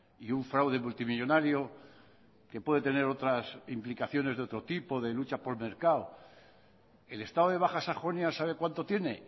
y un fraude multimillónario que puede tener otras implicaciones de otro tipo de lucha por mercado el estado de baja sajonia sabe cuánto tiene